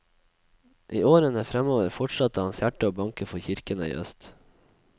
I årene fremover fortsatte hans hjerte å banke for kirkene i øst.